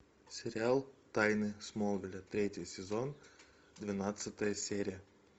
сериал тайны смолвиля третий сезон двенадцатая серия